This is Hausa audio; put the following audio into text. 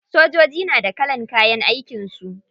Sojoji na da kalan kayan aikin su.